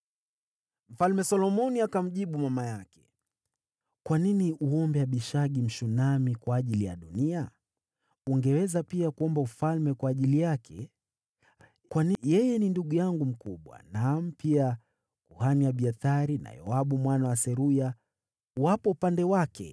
Mfalme Solomoni akamjibu mama yake, “Kwa nini uombe Abishagi, Mshunami, kwa ajili ya Adoniya? Ungeweza pia kuomba ufalme kwa ajili yake, kwani yeye ni ndugu yangu mkubwa: naam, kwa ajili yake, na kwa kuhani Abiathari na Yoabu mwana wa Seruya!”